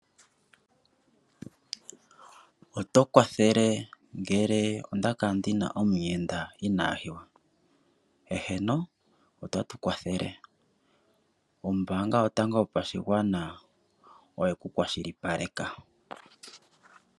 Oto kwathele ngele onda kala ndi na omuyenda ina hiwa? Eheno ota tu kwathele. Ombanga yotango yopashigwana oye ku kwashilipaleka.